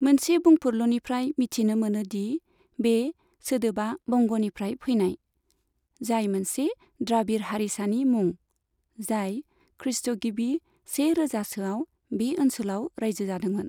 मोनसे बुंफुरलुनिफ्राय मिथिनो मोनो दि बे सोदोबा बंगनिफ्राय फैनाय, जाय मोनसे द्राबिड़ हारिसानि मुं, जाय खृस्ट'गिबि से रोजासोआव बे ओनसोलाव राइजो जादोंमोन।